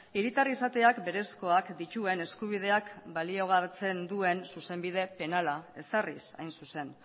hiritar izateak berezkoak dituen eskubideak baliogabetzen duen zuzenbide penala ezarriz hain zuzen